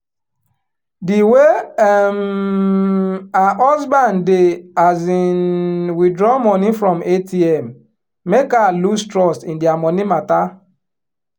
di way um her husband dey um withdraw money from atm make her loose trust in dia money matter